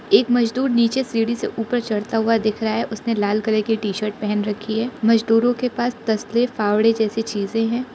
एक मजदूर नीचे सीढ़ी से ऊपर चढ़ता हुआ दिख रहा उसने लाल कलर की टी शर्ट पहन रखी है मजदूरों के पास तसले फावड़े जैसी चीजें है।